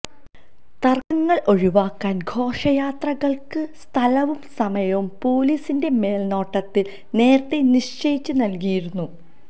തർക്കങ്ങൾ ഒഴിവാക്കാൻ ഘോഷയാത്രകൾക്ക് സ്ഥലവും സമയവും പൊലീസിന്റെ മേൽനോട്ടത്തിൽ നേരത്തേ നിശ്ചയിച്ച് നൽകിയിരുന്നു